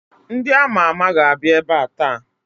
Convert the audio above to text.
Ndị ama ama ga-abịa ebe a taa